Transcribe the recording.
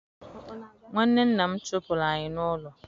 Nwanne nna m chụpụrụ anyị n'ụlọ